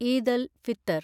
Eid al Fitr